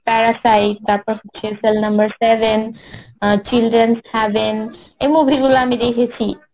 প্যারাসাইড তারপর হচ্ছে cell number seven, uh children's havean এই movie গুলো আমি দেখেছি